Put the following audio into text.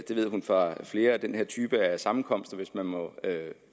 hun fra flere af den her type af sammenkomster hvis man må